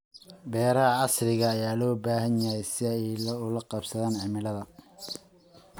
Beeraha casriga ah ayaa loo baahan yahay si ay ula qabsadaan cimilada.